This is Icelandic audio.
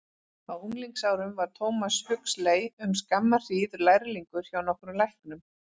Á unglingsárum var Thomas Huxley um skamma hríð lærlingur hjá nokkrum læknum.